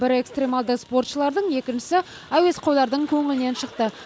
бірі экстремалды спортшылардың екіншісі әуесқойлардың көңілінен шықты